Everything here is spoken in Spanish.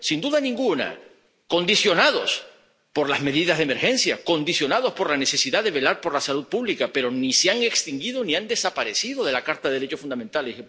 Sin duda ninguna, derechos condicionados por las medidas de emergencia, condicionados por la necesidad de velar por la salud pública, pero ni se han extinguido ni han desaparecido de la Carta de los Derechos Fundamentales.